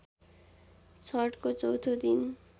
छठको चौथो दिन